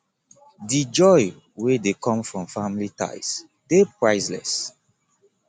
di joy wey dey come from family ties dey priceless